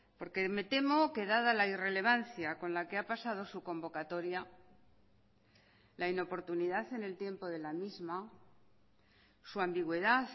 porque me temo que dada la irrelevancia con la que ha pasado su convocatoria la inoportunidad en el tiempo de la misma su ambigüedad